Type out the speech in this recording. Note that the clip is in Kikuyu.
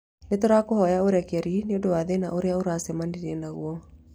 Nĩ tũrakũhoya ũrekeri nĩ ũndũ wa thĩna ũrĩa ũracemanirie naguo.